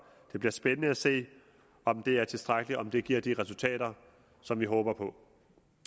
det bliver spændende at se om det er tilstrækkeligt om det giver de resultater som vi håber på